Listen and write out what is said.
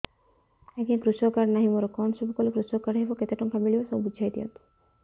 ଆଜ୍ଞା କୃଷକ କାର୍ଡ ନାହିଁ ମୋର କଣ ସବୁ କଲେ କୃଷକ କାର୍ଡ ହବ କେତେ ଟଙ୍କା ମିଳିବ ସବୁ ବୁଝାଇଦିଅନ୍ତୁ